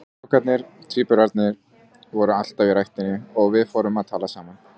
Strákarnir, tvíburarnir, voru alltaf í ræktinni og við fórum að tala saman.